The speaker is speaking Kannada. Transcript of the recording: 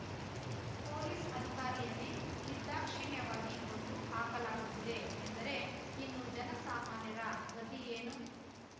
ಪೊಲೀಸ್‌ ಅಧಿಕಾರಿಯನ್ನೇ ನಿರ್ದಾಕ್ಷಿಣ್ಯವಾಗಿ ಕೊಂದು ಹಾಕಲಾಗುತ್ತಿದೆ ಎಂದರೆ ಇನ್ನು ಜನಸಾಮಾನ್ಯರ ಗತಿ ಏನು